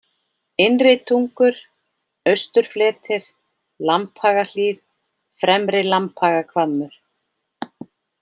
Innritungur, Austurfletir, Lambhagahlíð, Fremri-Lambhagahvammur